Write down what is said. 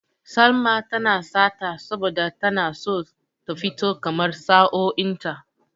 Salma tana sata saboda tana auren so ta fito kamar sa'o'in ta.